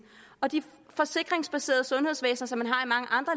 og de forsikringsbaserede sundhedsvæsener som